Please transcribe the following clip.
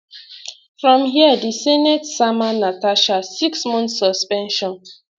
from here di senate sama natasha six months suspension